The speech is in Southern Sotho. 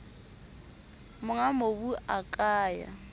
monga mobu a ka ya